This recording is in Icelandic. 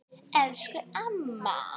Elsku amma!